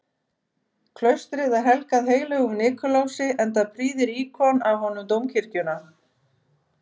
Klaustrið er helgað heilögum Nikulási, enda prýðir íkon af honum dómkirkjuna.